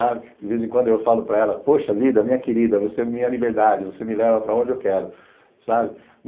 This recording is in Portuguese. De vez em quando eu falo para ela, poxa vida, minha querida, você é minha liberdade, você me leva para onde eu quero, sabe?